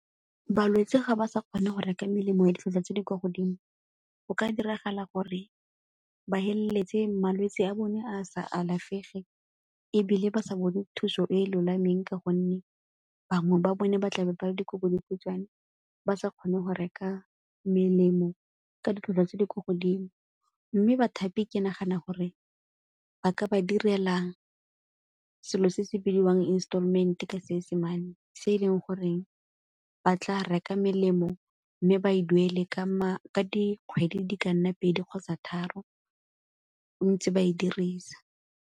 Balwetse ga ba sa kgone go reka melemo e ditlhwatlhwa tse di kwa godimo, go ka diragala gore ba feleletse malwetse a bone a sa alafege ebile ba sa bone thuso e e lolameng ka gonne bangwe ba bone ba tlabe ba le dikobodikhutshwane ba sa kgone go reka melemo ka ditlhwatlhwa tse di ko godimo. Mme bathapi ke nagana gore ba ka ba direla selo se se bidiwang installment-e ka Seesemane se e leng goreng ba tla reka melemo mme ba e duele ka dikgwedi di ka nna pedi kgotsa tharo, bontsi ba e dirisa.